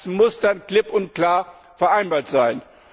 Das muss dann klipp und klar vereinbart sein.